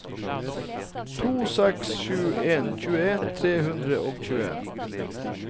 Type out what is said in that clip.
to seks sju en tjueen tre hundre og tjueen